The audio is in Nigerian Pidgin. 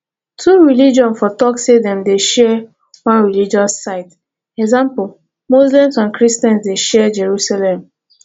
two religion for talk sey dem dey share one religious site eg muslims and christians dey share jerusalem